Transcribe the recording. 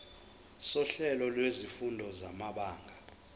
sohlelo lwezifundo samabanga